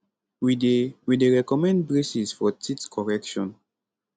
we dey we dey recommend braces for teeth correction